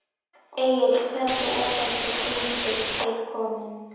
Egill hvernig er þessi fundur til kominn?